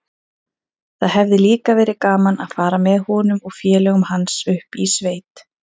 Það hefði líka verið gaman að fara með honum og félögum hans upp í sveit.